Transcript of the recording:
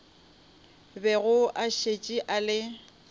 bego a šetše a le